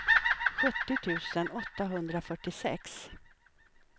sjuttio tusen åttahundrafyrtiosex